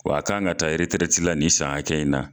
W'a kan ka taa eretirɛti la nin san in na